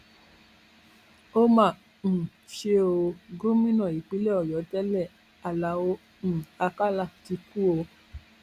ó mà um ṣe ò gómìnà ìpínlẹ ọyọ tẹlẹ aláọ um àkàlà ti kú o